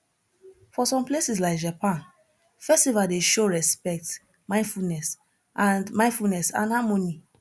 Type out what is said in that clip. for some places like japan festival dey show respect mindfulness and mindfulness and harmony